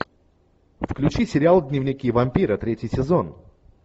включи сериал дневники вампира третий сезон